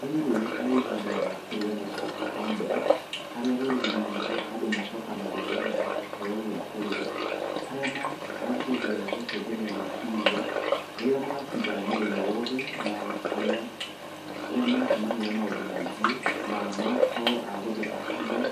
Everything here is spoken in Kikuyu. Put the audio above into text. Rĩrĩ nĩ ihinda rĩa kũrĩanĩra ta bamĩrĩ, harĩa rũrĩrĩ-inĩ rwitũ andũ macokanagĩrĩra na kũheo gĩa kũrĩa, harĩa manjagia gũcenjania meciria, ũrĩa matinda mũthenya wothe na ũrĩa , ũrĩa macemania na maundũ maingĩ, na magakorwo a gũtheka hamwe